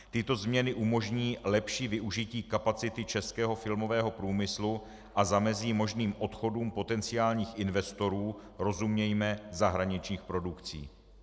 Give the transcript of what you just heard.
Tyto změny umožní lepší využití kapacity českého filmového průmyslu a zamezí možným odchodům potenciálních investorů, rozumějme zahraničních produkcí.